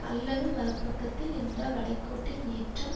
அல்லது மறு பக்கத்தில் இந்த வளைகோட்டின் ஏற்றம்